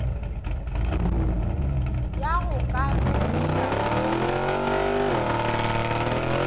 ya go ka rerišana le